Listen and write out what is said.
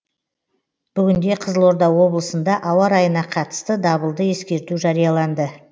бүгінде қызылорда облысында ауа райына қатысты дабылды ескерту жарияланды